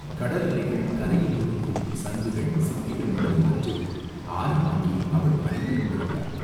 கடல் அலைகள் கரையில் ஒதுக்கும் சங்குகள், சிப்பிகள் முதலியவற்றை ஆரமாக்கி அவள் அணிந்து கொண்டிருந்தாள்.